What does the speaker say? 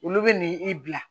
Olu bɛ n'i bila